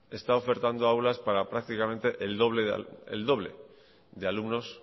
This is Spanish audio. está ofertando aulas para prácticamente el doble de alumnos